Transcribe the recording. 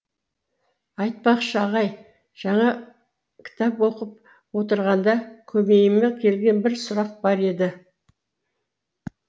айтпақшы ағай жаңа кітап оқып отырғанда көмейіме келген бір сұрақ бар еді